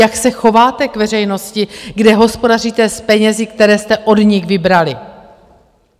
Jak se chováte k veřejnosti, kde hospodaříte s penězi, které jste od nich vybrali?